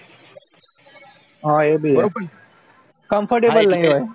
હા અ ભી હ comfortable રહે